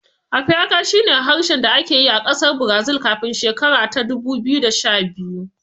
Apiaká shi ne harshen da ake yi a ƙasar Brazil kafin shekara ta dubu biyu da sha biyu